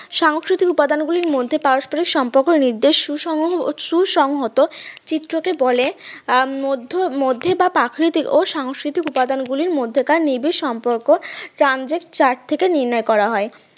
সাংস্কৃতিক উপাদান গুলির মধ্যে পারস্পারিক সম্পর্ক নির্দেশ সু সমূহ সুসমহিত চিত্রকে বলে মধ্যে মধ্যে বা প্রাকৃতিক প্রাকৃতিক সংস্কৃতিক উপাদান গুলির মধ্যে নিবিড় সম্পর্ক ট্রানজেট চার্ট থেকে নির্ণয় করা হয়